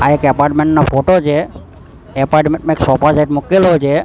આ એક એપાર્ટમેન્ટ નો ફોટો છે એપાર્ટમેન્ટ માં એક સોફા સેટ મૂકેલો છે.